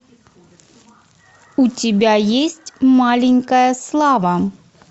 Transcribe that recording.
у тебя есть маленькая слава